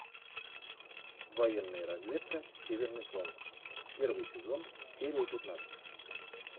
военная разведка северный фронт первый сезон серия пятнадцать